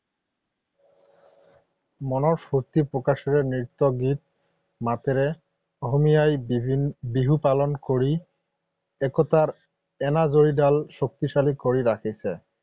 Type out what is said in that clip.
মনৰ স্ফূৰ্তি প্ৰকাশেৰে নৃত্য গীত মাতেৰে অসমী আইৰ বিহু পালন কৰি একতাৰ এনাজৰীডাল শক্তিশালী কৰি ৰাখিছে।